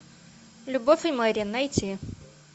любовь и мэри найти